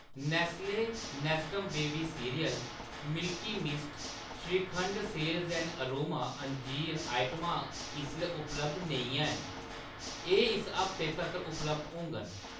Nestle Nestum baby cereal , Milky Mist shrikhand ते Seals ते Aroma अंजीर आइटमां इसलै उपलब्ध नेईं हैन, एह्‌‌ इस हफ्तै तक्कर उपलब्ध होङन।